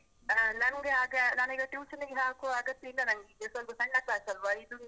ಆ ನಂಗೆ ಆಗ, ನಾನ್ ಈಗ tuition ನಿಗೆ ಹಾಕುವ ಅಗತ್ಯ ಇಲ್ಲ ನಂಗ್ ಈಗ ಸ್ವಲ್ಪ ಸಣ್ಣ class ಅಲ್ವ, ಇದನ್ನ.